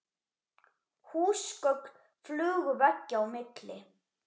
Húsgögn flugu veggja á milli.